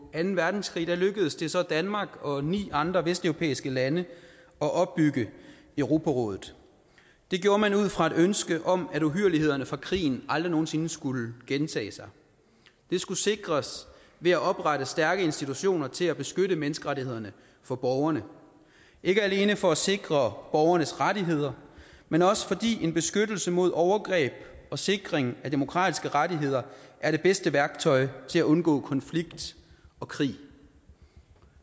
anden verdenskrig lykkedes det så danmark og ni andre vesteuropæiske lande at opbygge europarådet det gjorde man ud fra et ønske om at uhyrlighederne fra krigen aldrig nogen sinde skulle gentage sig det skulle sikres ved at oprette stærke institutioner til at beskytte menneskerettighederne for borgerne ikke alene for at sikre borgernes rettigheder men også fordi en beskyttelse mod overgreb og sikring af demokratiske rettigheder er det bedste værktøj til at undgå konflikt og krig